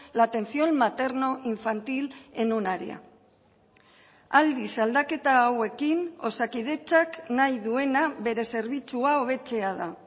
la atención maternoinfantil en un área aldiz aldaketa hauekin osakidetzak nahi duena bere zerbitzua hobetzea da